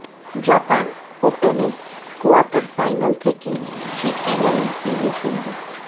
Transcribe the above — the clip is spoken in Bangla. জাপান ওপেনের কোয়ার্টার ফাইনাল থেকে ছিটকে গেলেন পিভি সিন্ধু